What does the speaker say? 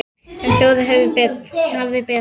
En þjóðin hafði betur.